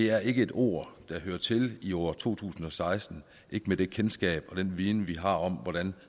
er et ord der hører til i år to tusind og seksten med det kendskab og den viden vi har om hvordan